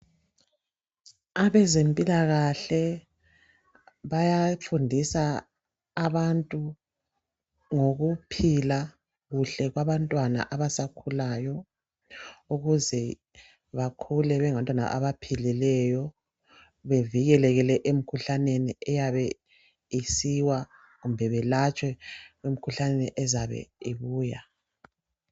Abezempilakahle bayafundisa abantu ngokuphipa kuhle kwabantwana abasakhulayo ukuze bakhule bengabantwana abaphilileyo bevikelekile emkhuhlaneni eyabe isiwa kumbe behlatshwe emkhuhlaneni ezabe ibuya.